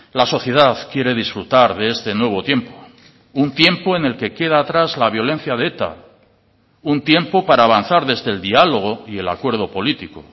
la sociedad quiere disfrutar de este nuevo tiempo un tiempo en el que queda atrás la violencia de eta un tiempo para avanzar desde el diálogo y el acuerdo político